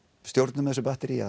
stjórnum þessu batteríi